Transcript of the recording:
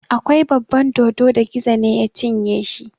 Akwai baban dodo da Gizo ne ya cinye shi.